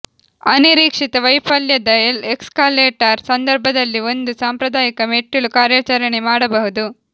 ಅನಿರೀಕ್ಷಿತ ವೈಫಲ್ಯದ ಎಸ್ಕಲೇಟರ್ ಸಂದರ್ಭದಲ್ಲಿ ಒಂದು ಸಾಂಪ್ರದಾಯಿಕ ಮೆಟ್ಟಿಲು ಕಾರ್ಯಾಚರಣೆ ಮಾಡಬಹುದು